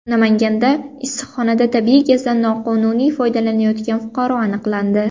Namanganda issiqxonada tabiiy gazdan noqonuniy foydalanayotgan fuqaro aniqlandi.